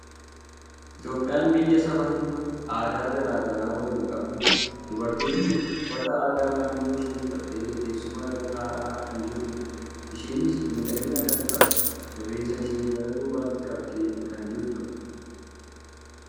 Itoophiyaan biyya saba hedduu aadaa garaa garaa waliin qabdudha. Dubartiin kun uffata aadaa naannoo ishii uffattee teessuma irra taa'aa kan jirtudha. Ishiinis miidhagina kan qabdu, rifeensa ishee gara duubaatti qabdee kan jirtudha!